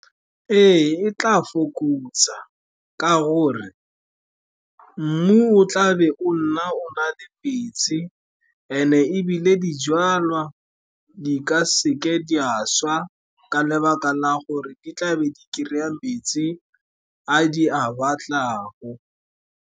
Ee, e tla fokotsa ka gore mmu o tlabe o nna o na le metsi, and-e ebile dijalwa di ka seke di a swa ka lebaka la gore di tlabe di kry-a metsi a di a batlago.